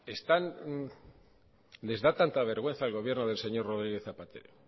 les da tanta vergüenza del señor rodríguez zapatero